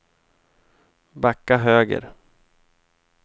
backa höger